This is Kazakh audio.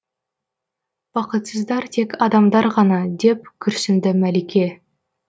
бақытсыздар тек адамдар ғана деп күрсінді мәлике